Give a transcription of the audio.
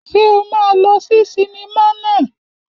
Ṣé o máa lọ sí sinimá naa?